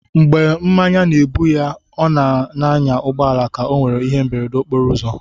Mgbè mmánya na-ébú ya, ó n'ànyà ụgbọala ka ọ nwéré íhé mberede okporo ụzọ